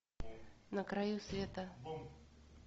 на краю света